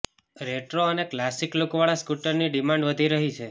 retro અને classic લુકવાળા સ્કૂટરની ડિમાન્ડ વધી રહી છે